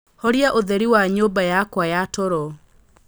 horia ũtheri wa nyũmba yakwa ya toro